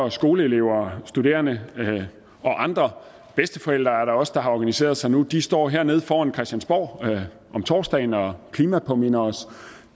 at skoleelever og studerende og andre bedsteforældre er der også der har organiseret sig nu står hernede foran christiansborg om torsdagen og klimapåminder os